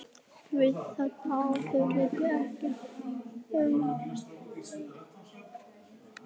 Við þetta er auðvitað ekkert að athuga frá sjónarmiði bersyndugra.